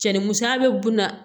Cɛnnimusoya bɛ bon na